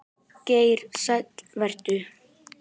Geir Sæll vertu.